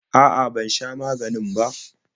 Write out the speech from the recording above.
A'a, ban sha maganina ba.